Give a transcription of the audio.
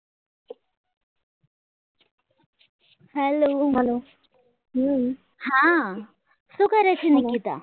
hello hello હા શું કરે છે નિકિતા